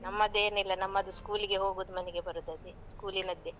ನಮ್ಮದೇನಿಲ್ಲ. ನಮ್ಮದು school ಗೆ ಹೋಗುದು ಮನೆಗೆ ಬರುದು ಅದೇ school ನದ್ದೇ.